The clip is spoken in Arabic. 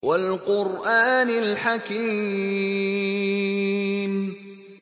وَالْقُرْآنِ الْحَكِيمِ